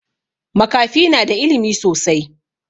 Makafi na da ilimi sosai